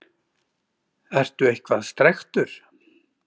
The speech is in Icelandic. Ertu eitthvað strekktur?